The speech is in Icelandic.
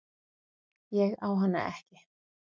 Ég á hana ekki.